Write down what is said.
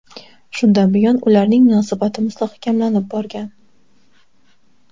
Shundan buyon ularning munosabati mustahkamlanib borgan.